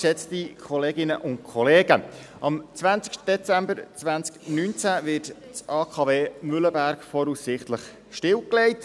Am 20. Dezember 2019 wird das AKW Mühleberg voraussichtlich stillgelegt.